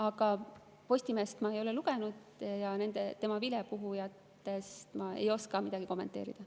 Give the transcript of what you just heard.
Aga Postimeest ma ei ole lugenud ja tema vilepuhujat ma ei oska kommenteerida.